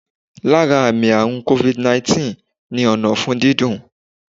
Lára àmì àrùn Covid 19 ni ọ̀nà ọ̀fun dídùn